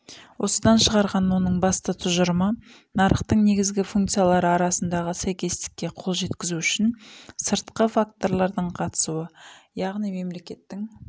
осыдан шығарған оның басты тұжырымы нарықтың негізгі функциялары арасындағы сәйкестікке қол жеткізу үшін сыртқы факторлардың қатысуы яғни мемлекеттің